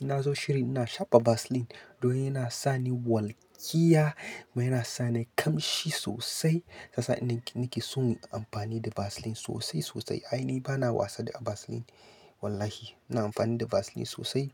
ina zo shiri ina shafa Vaseline. Don yana sa ni walƙiya kuma yana sa ni kamshi sosai. Sasa ni nake so in yi amfani da Vaseline sosai sosai. Ai ni ba na wasa da Vaseline wallahi. Ina amfani da Vaseline sosai.